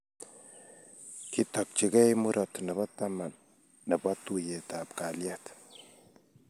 Kitokchikei murot nebo katam nebo tuiyetab kalyet